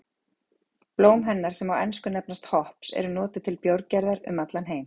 Blóm hennar sem á ensku nefnast hops eru notuð til bjórgerðar um allan heim.